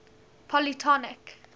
polytonic